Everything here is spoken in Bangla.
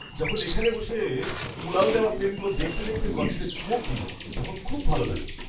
যখন এখানে বসে উড়াল দেওয়া প্লেনগুলো দেখতে দেখতে কফিতে চুমুক দিই, তখন খুব ভাল লাগে।